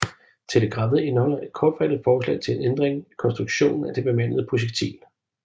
Telegrammet indeholder et kortfattet forslag til en ændring i konstruktionen af det bemandede projektil